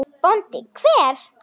BÓNDI: Hver?